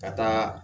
Ka taa